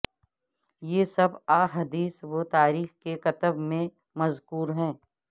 یہ سب احادیث و تاریخ کی کتب میں مذکور ہے